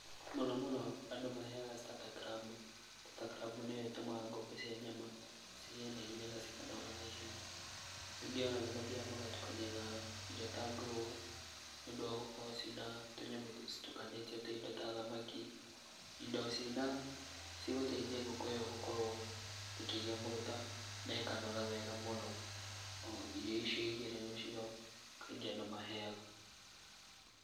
Mũno mũno andũ maheaga startergramu. Statergramu nĩyo ĩtũmaga ngũkũ cia nyama cigĩe na ihenya na cikanora na ihenya. Rĩngĩ ona nĩ mathiaga magatukania na irio ta Grower, nĩ ũndũ wa gũkorwo cina tũnyamũ citukanĩtio ta indo ta thamaki, indo cigũteithia ngũkũ ĩyo gũkorwo ĩkĩgĩa maguta na ĩkanora wega mũno. Irio icio igĩrĩ nĩcio kaingĩ andũ maheaga.